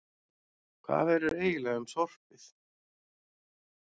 Hvað verður eiginlega um sorpið?